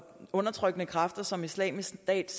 undertrykkende kræfter som islamisk stat